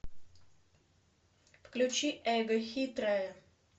включи эго хитрая